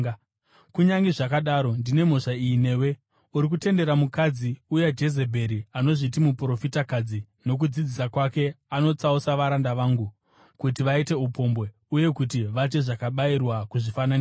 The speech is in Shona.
Kunyange zvakadaro, ndine mhosva iyi newe: Uri kutendera mukadzi uya Jezebheri, anozviti muprofitakadzi. Nokudzidzisa kwake anotsausa varanda vangu kuti vaite upombwe uye kuti vadye zvakabayirwa kuzvifananidzo.